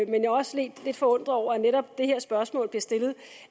jeg er også lidt forundret over at netop det her spørgsmål bliver stillet